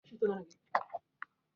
Gova bụ ezigbo mkpụrụ osisi.